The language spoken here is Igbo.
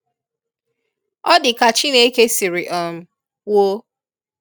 Ọ dị ka Chineke siri um kwuo.